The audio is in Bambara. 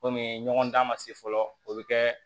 Komi ɲɔgɔn dan ma se fɔlɔ o bɛ kɛ